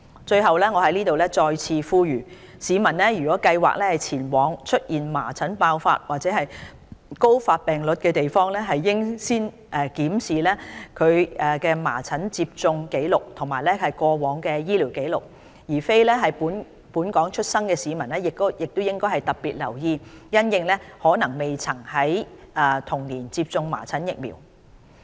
最後，我在此再次作出呼籲，市民如計劃前往出現麻疹爆發或高發病率的地方，應先檢視其疫苗接種紀錄及過往醫療紀錄。非本港出生的市民應特別留意，因其可能未曾在童年時接種麻疹疫苗。